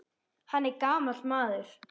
Hann er gamall maður.